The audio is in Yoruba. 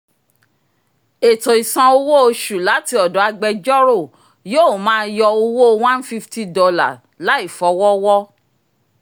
ẹ̀tọ́ ìsan owó oṣù láti ọ̀dọ̀ agbẹjọ́rò yóò máa yọ owó $150 laifọwọ́wọ́